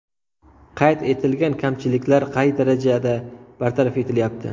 Qayd etilgan kamchiliklar qay darajada bartaraf etilyapti?